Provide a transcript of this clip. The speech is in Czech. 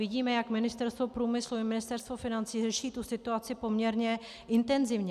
Vidíme, jak Ministerstvo průmyslu i Ministerstvo financí řeší tu situaci poměrně intenzivně.